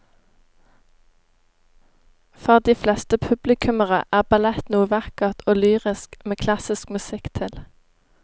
For de fleste publikummere er ballett noe vakkert og lyrisk med klassisk musikk til.